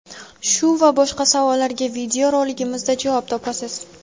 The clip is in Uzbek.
Shu va boshqa savollarga video roligimizda javob topasiz!.